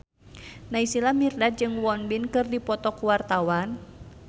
Naysila Mirdad jeung Won Bin keur dipoto ku wartawan